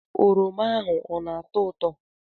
oroma ahụ ọ na-atọ ụtọ?